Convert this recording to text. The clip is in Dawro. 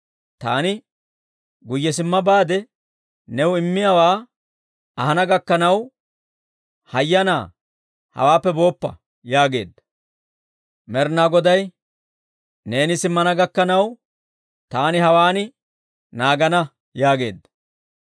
Taani guyye simma baade, new immiyaawaa ahana gakkanaw, hayyanaa hawaappe booppa» yaageedda. Med'inaa Goday, «Neeni simmana gakkanaw, taani hawaan naagana» yaageedda.